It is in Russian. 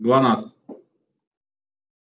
глонассс